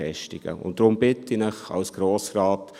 Deshalb bitte ich Sie, den Grossen Rat: